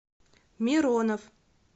миронов